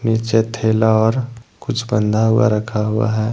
निचे थैला और कुछ बंधा हुआ रखा हुआ है।